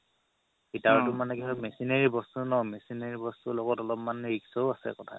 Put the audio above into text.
ফিতাৰতও কি হ'ল machinery বস্তু ন machinery বস্তুৰ লগত অলপ মান risk ও আছে কথা